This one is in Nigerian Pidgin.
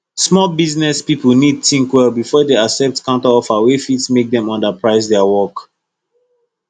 small business people need think well before dem accept counter offer wey fit make dem underprice their work